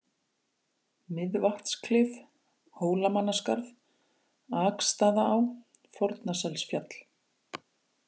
Miðvatnsklif, Hólamannaskarð, Akstaðaá, Fornaselsfjall